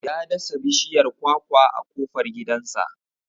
Ya dasa bishiyar kwakwa a kofar gidansa.